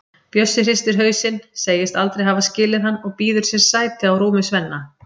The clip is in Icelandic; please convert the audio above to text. Bjössi hristir hausinn, segist aldrei hafa skilið hann og býður sér sæti á rúmi Svenna.